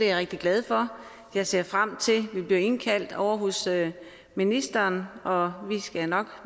jeg rigtig glad for jeg ser frem til at vi bliver indkaldt ovre hos ministeren og vi skal nok